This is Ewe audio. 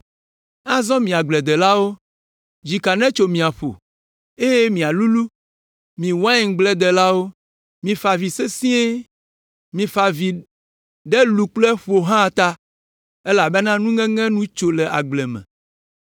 Azɔ mi agbledelawo, dzika netso mia ƒo, eye mialulũ, mi waingbledelawo, mifa avi sesĩe. Mifa avi ɖe lu kple ƒo hã ta elabena nuŋeŋe nu tso le agble me.